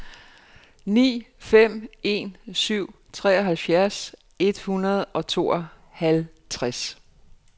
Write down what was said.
ni fem en syv treoghalvfjerds et hundrede og tooghalvtreds